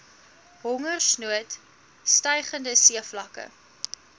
hongersnood stygende seevlakke